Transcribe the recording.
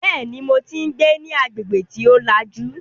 Bẹ́ẹ̀ni, mo tí ń gbé ní agbègbè tí ó lajú